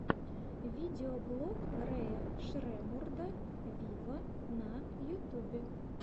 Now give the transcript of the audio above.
видеоблог рэя шреммурда виво на ютюбе